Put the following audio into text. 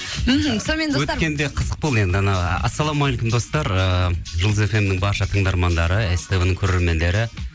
мхм сонымен достар өткенде қызық болды енді анау ассалаумағалейкум достар ыыы жұлдыз фм нің барша тыңдармандары ств нің көрермендері